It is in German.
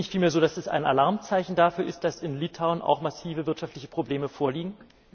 Ist es nicht vielmehr so, dass das ein Alarmzeichen dafür ist, dass in Litauen auch massive wirtschaftliche Probleme vorliegen?